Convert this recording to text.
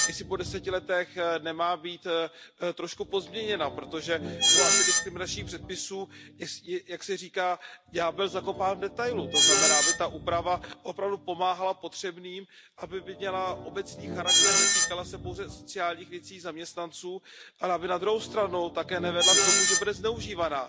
Jestli po 10 letech nemá být trošku pozměněna, protože u antidiskriminačních předpisů je, jak se říká, ďábel zakopán v detailu, to znamená, aby ta úprava opravdu pomáhala potřebným, aby měla obecný charakter, netýkala se pouze sociálních věcí zaměstnanců, ale aby na druhou stranu také nevedla k tomu, že bude zneužívána,